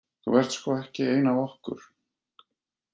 Þú ert sko ekki ein af okkur.